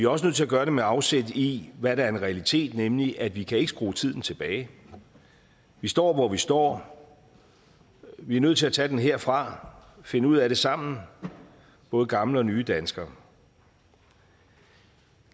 også nødt til at gøre det med afsæt i hvad der er en realitet nemlig at vi ikke kan skrue tiden tilbage vi står hvor vi står vi er nødt til at tage den herfra finde ud af det sammen både gamle og nye danskere